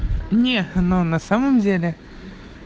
не но на самом деле